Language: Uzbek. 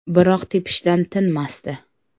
Biroq tepishdan tinmasdi.